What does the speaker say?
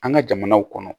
An ka jamanaw kɔnɔ